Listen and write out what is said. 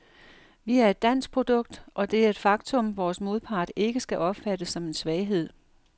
Vi er et dansk produkt, og det er et faktum, vores modpart ikke skal opfatte som en svaghed.